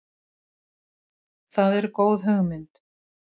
Það er góð hugmynd.